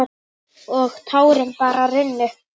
Og tárin bara runnu.